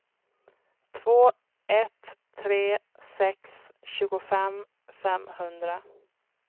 två ett tre sex tjugofem femhundra